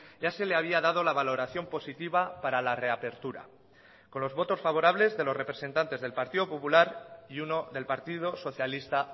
ya se le había dado la valoración positiva para la reapertura con los votos favorables de los representantes del partido popular y uno del partido socialista